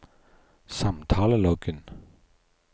samtaleloggen